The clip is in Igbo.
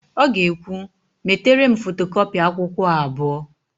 Ọ ga-ekwu, "metere m fotokọpị akwụkwọ a abụọ"!